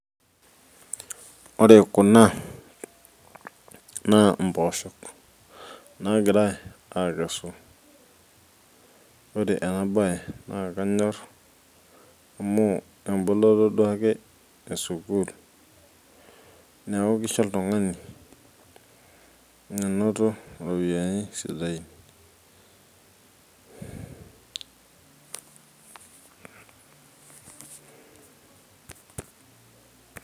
Ore kuna naa imboosho nagirai aakesu. Ore ena baye naakanyor amu emboloto duake esukuul, neeku kisho oltungani menoto iropiyiani sidain.